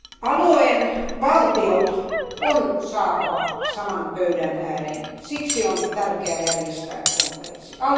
Alueen valtiot on saatava saman pöydän ääreen, siksi on tärkeää järjestää konferenssi.